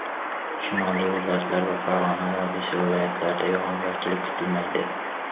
Shimoliy viloyatlar va Farg‘ona vodiysi viloyatlarida yog‘ingarchilik kutilmaydi.